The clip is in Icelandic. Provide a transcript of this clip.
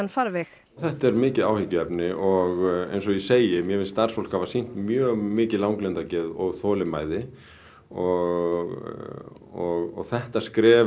farveg þetta er mikið áhyggjuefni og eins og ég segi mér finnst starfsfólk hafa sýnt mjög mikið langlundargeð og þolinmæði og þetta skref